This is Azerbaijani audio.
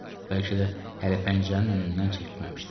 Bəlkə də hələ pəncərənin önündən çəkilməmişdim.